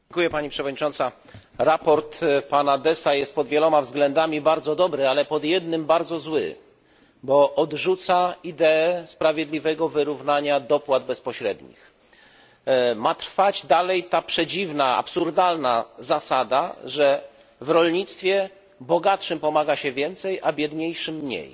Sprawozdanie pana Dessa jest pod wieloma względami bardzo dobre, ale pod jednym bardzo złe, bo odrzuca ideę sprawiedliwego wyrównania dopłat bezpośrednich. Ma trwać dalej ta przedziwna, absurdalna zasada, że w rolnictwie bogatszym pomaga się więcej, a biedniejszym mniej.